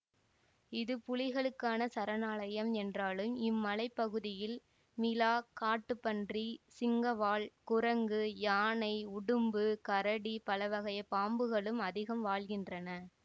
இது புலிகளுக்கான சரணாலயம் என்றாலும் இம்மலைப் பகுதியில் மிளா காட்டுப்பன்றி சிங்கவால் குரங்கு யானை உடும்பு கரடி பலவகைப் பாம்புகளும் அதிகம் வாழ்கின்றன